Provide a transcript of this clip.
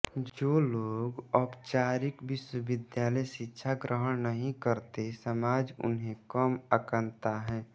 जो लोग औपचारिक विश्वविद्यालय शिक्षा ग्रहण नहीं करते समाज उन्हें कम आंकता है